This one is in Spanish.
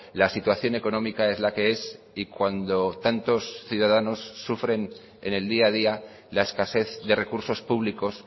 la situación económica es la que es y cuando tantos ciudadanos sufren en el día a día la escasez de recursos públicos